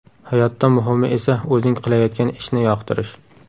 Hayotda muhimi esa o‘zing qilayotgan ishni yoqtirish.